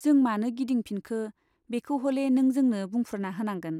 जों मानो गिदिंफिनखो, बेखौ हले नों जोंनो बुफ्रुना होनांगोन।